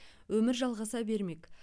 өмір жалғаса бермек